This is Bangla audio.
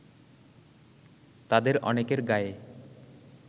তাদের অনেকের গায়ে